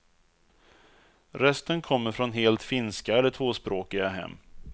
Resten kommer från helt finska eller tvåspråkiga hem.